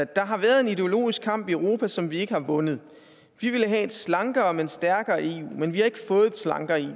der har været en ideologisk kamp i europa som vi ikke har vundet vi ville have et slankere men stærkere eu men vi har ikke fået et slankere